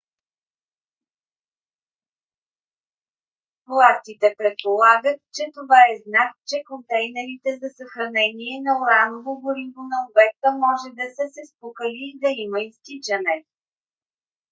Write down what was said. властите предполагат че това е знак че контейнерите за съхранение на ураново гориво на обекта може да са се спукали и да има изтичане